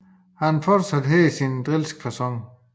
Han fortsatte her sin drilske facon